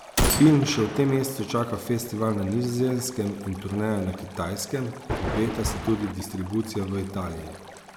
Film še v tem mesecu čaka festival na Nizozemskem in turneja na Kitajskem, obeta se tudi distribucija v Italiji.